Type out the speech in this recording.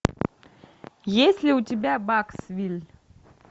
есть ли у тебя баксвилль